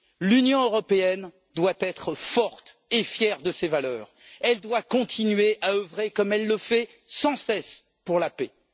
L'Union européenne doit être forte et fière de ses valeurs, elle doit continuer à œuvrer, comme elle le fait sans cesse, pour la paix.